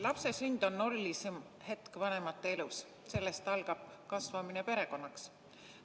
Lapse sünd on erilisim hetk vanemate elus, sellest algab kasvamine perekonnaks.